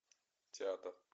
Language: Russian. театр